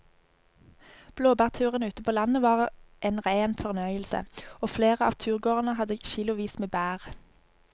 Blåbærturen ute på landet var en rein fornøyelse og flere av turgåerene hadde kilosvis med bær.